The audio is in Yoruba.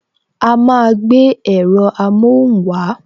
A máa gbé èrọ amohun wa